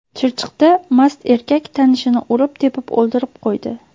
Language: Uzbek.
Chirchiqda mast erkak tanishini urib-tepib o‘ldirib qo‘ydi.